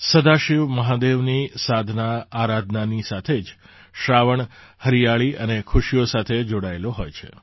સદાશિવ મહાદેવની સાધનાઆરાધનાની સાથે જ શ્રાવણ હરિયાળી અને ખુશીઓ સાથે જોડાયેલો હોય છે